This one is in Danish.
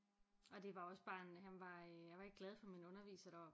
Og det var også bare en jeg var ikke glad for min underviser deroppe